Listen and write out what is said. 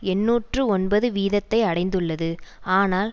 எண்ணூற்று ஒன்பது வீதத்தை அடைந்துள்ளது ஆனால்